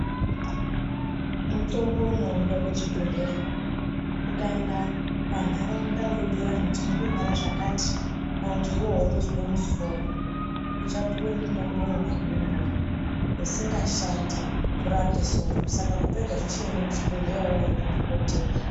Mutombo unoineka kuchibhehlera ukaenda panharaunda webhira vandu kuti ndiri kurwara zvakati kana kuti iwewe urikuzwa musoro uchapuwa mutombo wemakumbo usingashandi kurape soro saka kupedza zvese enda kuchibhehlera undona dhokotera